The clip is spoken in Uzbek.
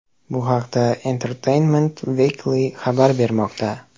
Bu haqda Entertainment Weekly xabar bermoqda .